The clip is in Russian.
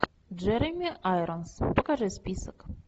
джереми айронс покажи список